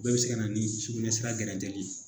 O bɛɛ bɛ se ka na ni sugunɛsira gɛrɛtɛli ye